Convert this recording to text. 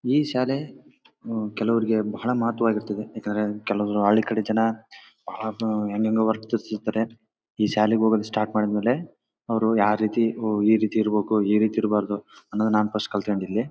ಈ ಶಾಲೆ ಹಮ್ ಕೆಲವರಿಗೆ ಬಹಳ ಮಹತ್ವ ಆಗಿರ್ತದೆ. ಏಕೆಂದ್ರೆ ಕೆಲವು ಹಳ್ಳಿ ಕಡೆ ಜನ ಬಹಳ ಹೆಂಗೆಂಗೋ ವರ್ತಿಸುತ್ತಿರ್ತಾರೆ. ಈ ಶಾಲೆಗೆ ಹೋಗೋದು ಸ್ಟಾರ್ಟ್ ಮಾಡಿದ್ ಮೇಲೆ ಅವರು ಯಾವ ರೀತಿ ಈ ರೀತಿ ಇರ್ಬೇಕು ಈ ರೀತಿ ಇರಬಾರದು ನಾನ್ ಫಸ್ಟ್ ಕಲಿತ್ ಕೊಂಡೆ ಇಲ್ಲಿ.